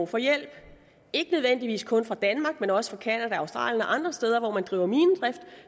for hjælp ikke nødvendigvis kun fra danmark men også fra canada og australien og andre steder hvor man driver minedrift